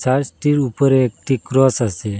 চার্সটির উপরে একটি ক্রস আসে।